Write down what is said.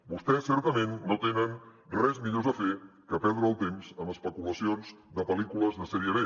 vostès certament no tenen res millor a fer que perdre el temps amb especulacions de pel·lícules de sèrie b